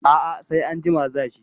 A a sai anjima za shi.